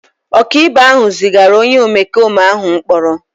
Ọkàikpe ahụ zigara onye omekome ahụ mkpọrọ.